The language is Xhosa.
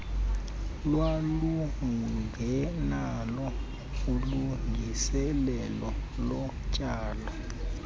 lwalungenalo ilungiselelo lotyalo